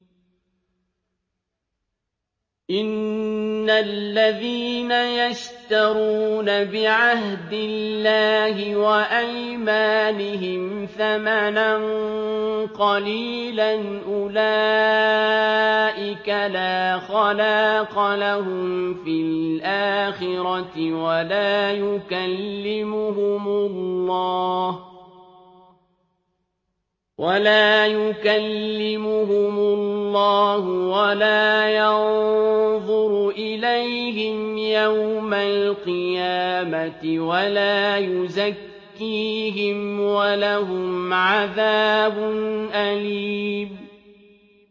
إِنَّ الَّذِينَ يَشْتَرُونَ بِعَهْدِ اللَّهِ وَأَيْمَانِهِمْ ثَمَنًا قَلِيلًا أُولَٰئِكَ لَا خَلَاقَ لَهُمْ فِي الْآخِرَةِ وَلَا يُكَلِّمُهُمُ اللَّهُ وَلَا يَنظُرُ إِلَيْهِمْ يَوْمَ الْقِيَامَةِ وَلَا يُزَكِّيهِمْ وَلَهُمْ عَذَابٌ أَلِيمٌ